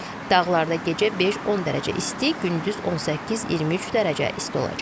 Dağlarda gecə 5-10 dərəcə isti, gündüz 18-23 dərəcə isti olacaq.